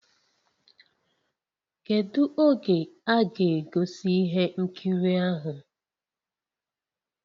Kedu oge a ga-egosi ihe nkiri ahụ?